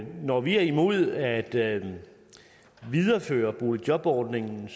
når vi er imod at videreføre boligjobordningen